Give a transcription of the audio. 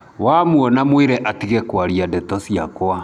Wamuona mwĩre atige kwaria ndeto ciakwa.